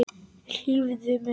Hlífðu mér.